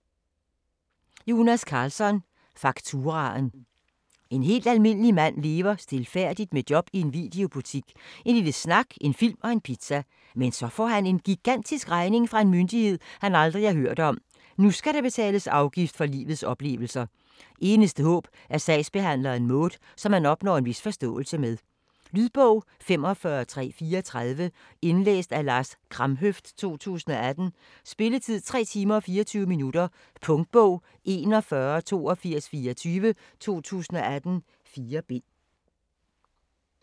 Karlsson, Jonas: Fakturaen En helt almindelig mand lever stilfærdigt med job i en videobutik, en lille snak, en film og en pizza. Men så får han en gigantisk regning fra en myndighed, han aldrig har hørt om. Nu skal der betales afgift for livets oplevelser. Eneste håb er sagsbehandleren Maud, som han opnår en vis forståelse med. Lydbog 45334 Indlæst af Lars Kramhøft, 2018. Spilletid: 3 timer, 24 minutter. Punktbog 418224 2018. 4 bind.